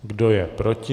Kdo je proti?